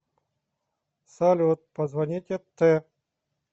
салют позвоните т